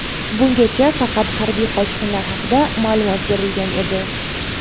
Bungacha faqat harbiy qochqinlar haqida ma’lumot berilgan edi.